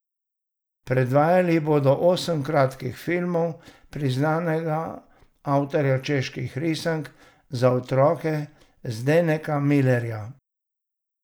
Predvajali bodo osem kratkih filmov priznanega avtorja čeških risank za otroke Zdeneka Milerja.